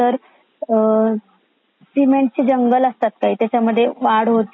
नंतर सीमेंट चे जंगल असतात काही त्यात वाढ होतीए.